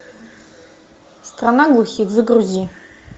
страна глухих загрузи